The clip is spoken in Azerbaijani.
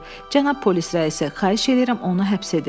Cənab polis rəisi, xahiş eləyirəm, onu həbs edin.